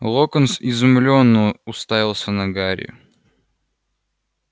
локонс изумлённо уставился на гарри